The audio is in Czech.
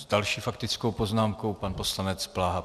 S další faktickou poznámkou pan poslanec Bláha.